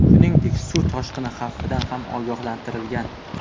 Shuningdek, suv toshqini xavfidan ham ogohlantirgan.